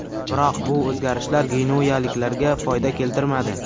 Biroq bu o‘zgarishlar genuyaliklarga foyda keltirmadi.